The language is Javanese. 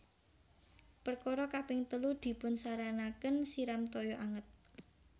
Perkara kaping telu dipunsaranaken siram toyo anget